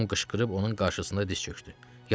Tom qışqırıb onun qarşısında diz çökdü.